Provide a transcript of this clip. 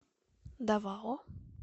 давао